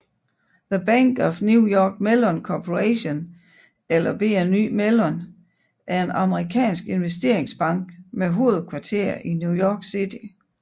The Bank of New York Mellon Corporation eller BNY Mellon er en amerikansk investeringsbank med hovedkvarter i New York City